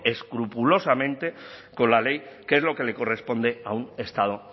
escrupulosamente con la ley que es lo que le corresponde a un estado